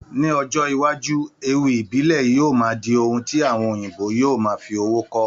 Ní ọjọ́ iwájú, ewì ìbílẹ̀ Yorùbá máa di ohun tí àwọn òyìnbó yóò máa fi owó kọ́.